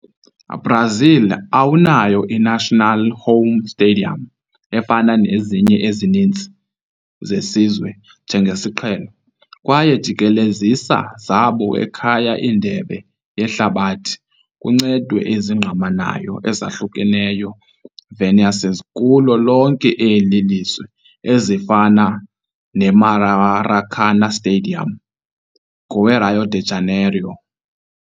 Brazil awunayo i-national home stadium efana nezinye ezininzi zesizwe njengesiqhelo, kwaye jikelezisa zabo ekhaya Indebe Yehlabathi kuncedwe ezingqamanayo ezahlukeneyo venusus kulo lonke eli lizwe, ezifana Maracanã Stadium ngowe - Rio de Janeiro.